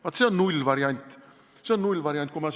Vaat see on nullvariant, see on nullvariant!